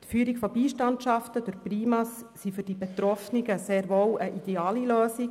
Die Führung von Beistandschaften durch PriMa sind für Betroffene sehr wohl eine ideale Lösung.